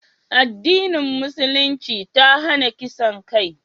addinin musulunci ta hana kisan kai